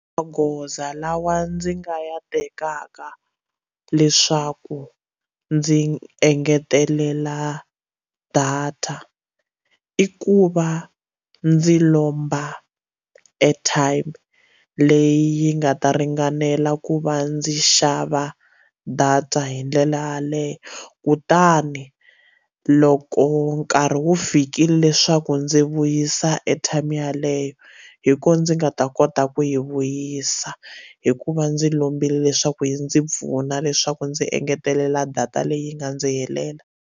Magoza lawa ndzi nga ya tekaka leswaku ndzi engetelela data i ku va ndzi lomba airtime leyi yi nga ta ringanela ku va ndzi xava data hi ndlela yaleyo kutani loko nkarhi wu fikile leswiku ndzi vuyisa airtime yeleyo hi ko ndzi nga ta kota ku yi vuyisa hikuva ndzi lombile leswaku yi ndzi pfuna leswaku ndzi engetelela data leyi nga ndzi helela.